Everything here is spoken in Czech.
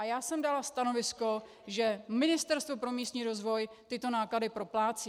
A já jsem dala stanovisko, že Ministerstvo pro místní rozvoj tyto náklady proplácí.